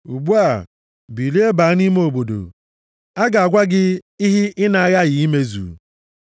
Ugbu a, bilie, baa nʼime obodo, a ga-agwa gị ihe ị na-aghaghị imezu.”